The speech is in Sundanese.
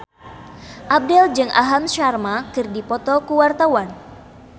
Abdel jeung Aham Sharma keur dipoto ku wartawan